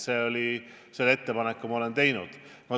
Selle ettepaneku olen ma teinud.